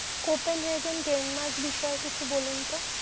Kotan regen Denmark বিষয়ে কিছু বলুন তো?